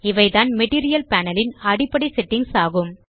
இவைதான் material panel ன் அடிப்படை செட்டிங்ஸ் ஆகும்